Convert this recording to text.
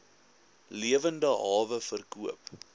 lewende hawe verkoop